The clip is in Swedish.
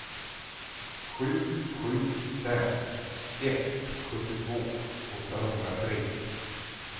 sju sju fem ett sjuttiotvå åttahundratre